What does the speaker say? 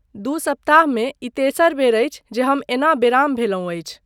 दू सप्ताहमे ई तेसर बेर अछि जे हम एना बेराम भेलहुँ अछि।